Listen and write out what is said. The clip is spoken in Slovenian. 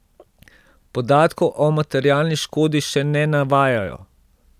Podatkov o materialni škodi še ne navajajo.